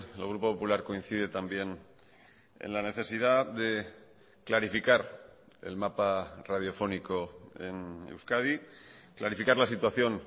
el grupo popular coincide también en la necesidad de clarificar el mapa radiofónico en euskadi clarificar la situación